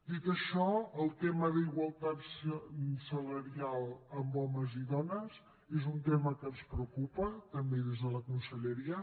dit això el tema d’igualtat salarial amb homes i dones és un tema que ens preocupa també des de la conselleria